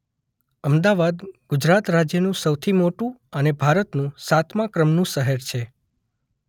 અમદાવાદ ગુજરાત રાજ્યનું સૌથી મોટુ અને ભારતનું સાતમા ક્રમનું શહેર છે.